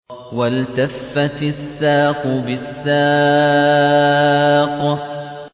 وَالْتَفَّتِ السَّاقُ بِالسَّاقِ